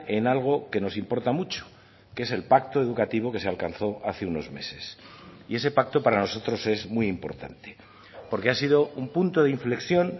en algo que nos importa mucho que es el pacto educativo que se alcanzó hace unos meses y ese pacto para nosotros es muy importante porque ha sido un punto de inflexión